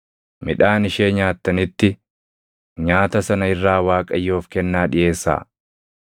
midhaan ishee nyaattanitti, nyaata sana irraa Waaqayyoof kennaa dhiʼeessaa.